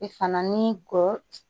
I fana ni kɔ